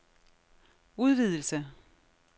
udvidelse